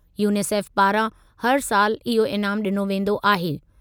UNICEF पारां हर सालि इहो इनामु ॾिनो वेंदो आहे।